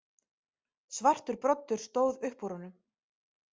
Svartur broddur stóð upp úr honum.